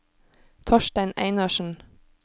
Torstein Einarsen